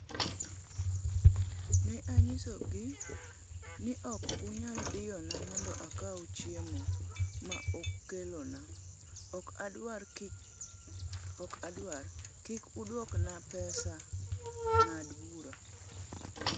"Ne anyisogi ni ok unyal diyona mondo akaw chiemo ma ukelona, ok adwar, kik uduokna pesa, ng'ad bura."""